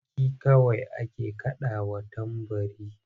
Sarki kawai ake kaɗawa tambari.